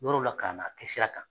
Yɔrɔw la ka na kɛ sira kan